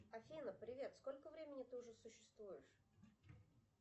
афина привет сколько времени ты уже существуешь